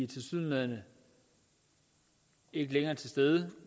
tilsyneladende ikke længere til stede